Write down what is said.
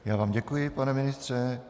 Já vám děkuji, pane ministře.